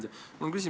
Hea ettekandja!